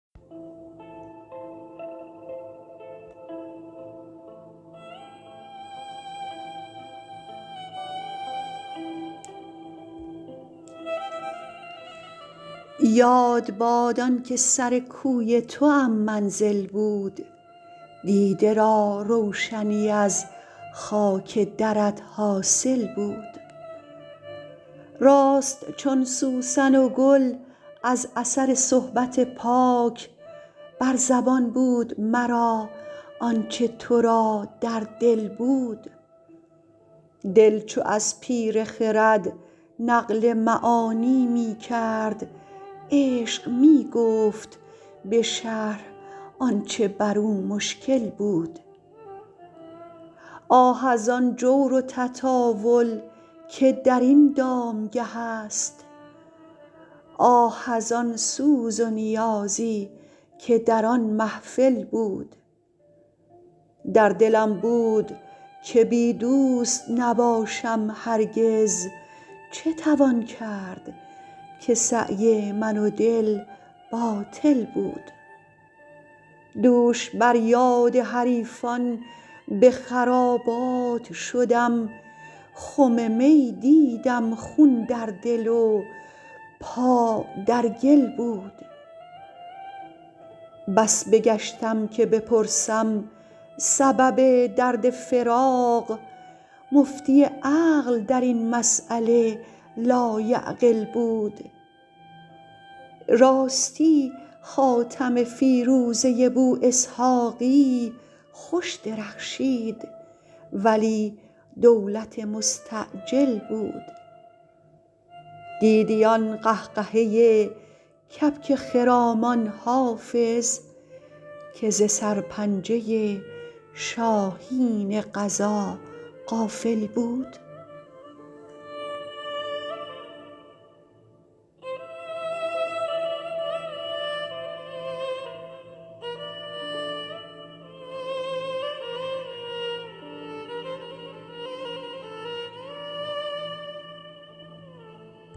یاد باد آن که سر کوی توام منزل بود دیده را روشنی از خاک درت حاصل بود راست چون سوسن و گل از اثر صحبت پاک بر زبان بود مرا آن چه تو را در دل بود دل چو از پیر خرد نقل معانی می کرد عشق می گفت به شرح آن چه بر او مشکل بود آه از آن جور و تطاول که در این دامگه است آه از آن سوز و نیازی که در آن محفل بود در دلم بود که بی دوست نباشم هرگز چه توان کرد که سعی من و دل باطل بود دوش بر یاد حریفان به خرابات شدم خم می دیدم خون در دل و پا در گل بود بس بگشتم که بپرسم سبب درد فراق مفتی عقل در این مسأله لایعقل بود راستی خاتم فیروزه بواسحاقی خوش درخشید ولی دولت مستعجل بود دیدی آن قهقهه کبک خرامان حافظ که ز سرپنجه شاهین قضا غافل بود